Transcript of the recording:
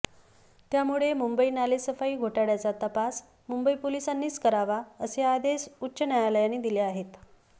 त्यामुळे मुंबई नालेसफाई घोटाळ्याचा तपास मुंबई पोलिसांनीच करावा असे आदेश उच्च न्यायालयानं दिले आहेत